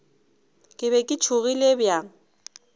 ke be ke tšhogile bjang